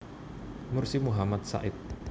Mursi Muhammad Sa id